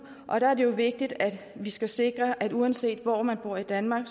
og der er det jo vigtigt at vi sikrer at uanset hvor man bor i danmark